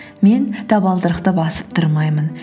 мен табалдырықты басып тұрмаймын